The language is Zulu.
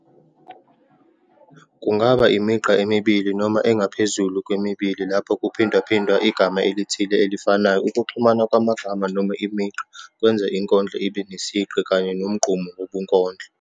Kungaba imigqa emibili noma engaphezulu kwemibili lapho kuphindwaphindwa igama elithile elifanayo. Ukuxhumana kwamagama noma imigqa kwenza inkondlo ibe nesigqi kanye nomgqumo wobunkondlo.